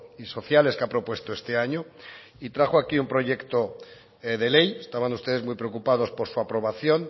y sociales que ha propuesto este año y trajo aquí un proyecto de ley estaban ustedes muy preocupados por su aprobación